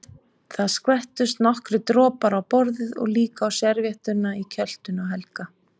Það skvettust nokkrir dropar á borðið og líka á servíettuna í kjöltunni á Helga.